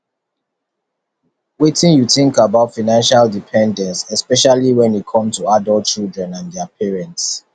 wetin you think about financial dependence especially when it come to adult children and dia parents